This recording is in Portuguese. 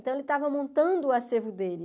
Então, ele estava montando o acervo dele.